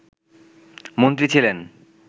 মন্ত্রী ছিলেন